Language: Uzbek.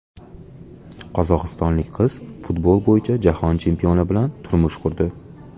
Qozog‘istonlik qiz futbol bo‘yicha jahon chempioni bilan turmush qurdi.